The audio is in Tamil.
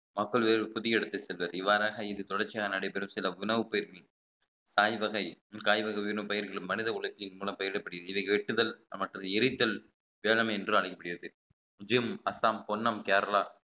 மக்கள் வேறு புதிய இடத்திற்கு செல்வது இவ்வாறாக இது தொடர்ச்சியாக நடைபெறும் சில உணவுப் பயிர்கள் காய்வகை காய் வகைகளும் பயிறுகளும் மனித உலக்கின் மூலம் பயிரிடப்படுகிறது இதை வெட்டுதல் மற்றது எரித்தல் திறமை என்று அழைக்கப்படுகிறது ஜிம் அஸ்ஸாம் பொன்னம் கேரளா